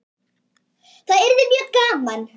Það yrði mjög gaman.